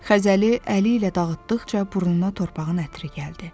Xəzəli əli ilə dağıtdıqca burnuna torpağın ətri gəldi.